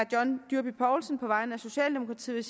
john dyrby paulsen på vegne af socialdemokratiet